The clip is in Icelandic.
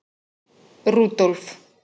Rúdólf